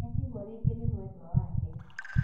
Nĩatigwo rĩngĩ nĩ mwendwa wake